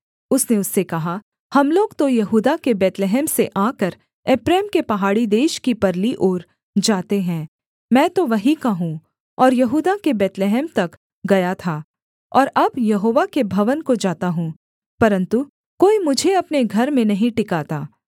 उसने उससे कहा हम लोग तो यहूदा के बैतलहम से आकर एप्रैम के पहाड़ी देश की परली ओर जाते हैं मैं तो वहीं का हूँ और यहूदा के बैतलहम तक गया था और अब यहोवा के भवन को जाता हूँ परन्तु कोई मुझे अपने घर में नहीं टिकाता